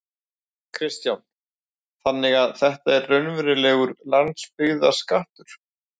Kristján: Þannig að þetta er raunverulegur landsbyggðarskattur?